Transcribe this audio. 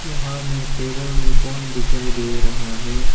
यहा मे टेबल में पोन दिखाई दे रहा है।